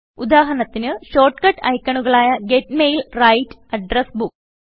ഉദാഹരണത്തിനു് short cut ഐക്കണുകളായ get mail write address book